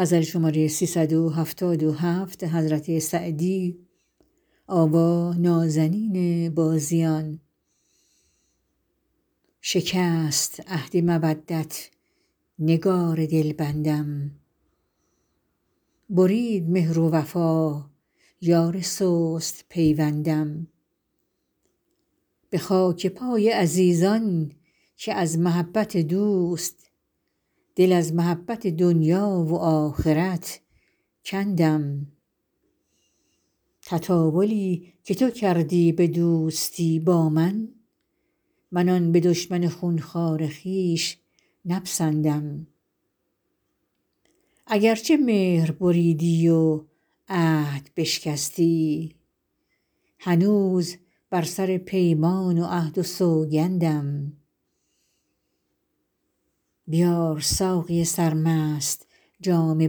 شکست عهد مودت نگار دلبندم برید مهر و وفا یار سست پیوندم به خاک پای عزیزان که از محبت دوست دل از محبت دنیا و آخرت کندم تطاولی که تو کردی به دوستی با من من آن به دشمن خون خوار خویش نپسندم اگر چه مهر بریدی و عهد بشکستی هنوز بر سر پیمان و عهد و سوگندم بیار ساقی سرمست جام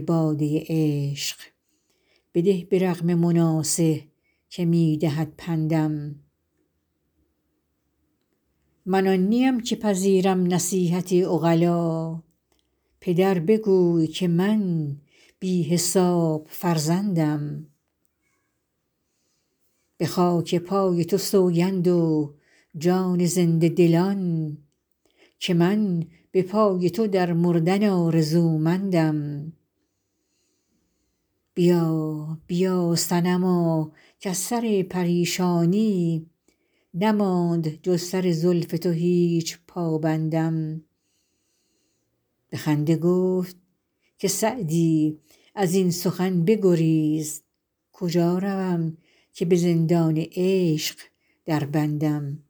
باده عشق بده به رغم مناصح که می دهد پندم من آن نیم که پذیرم نصیحت عقلا پدر بگوی که من بی حساب فرزندم به خاک پای تو سوگند و جان زنده دلان که من به پای تو در مردن آرزومندم بیا بیا صنما کز سر پریشانی نماند جز سر زلف تو هیچ پابندم به خنده گفت که سعدی از این سخن بگریز کجا روم که به زندان عشق دربندم